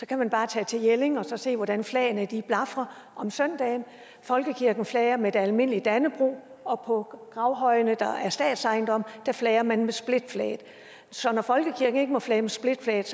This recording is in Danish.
kan bare tage til jelling og så se hvordan flagene blafrer om søndagen folkekirken flager med et almindeligt dannebrog og på gravhøjene der er statsejendom flager man med splitflaget så når folkekirken ikke må flage med splitflaget